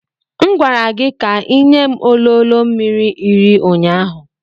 M gwara gị ka ị nye m ololo mmiri iri ụnyaahụ.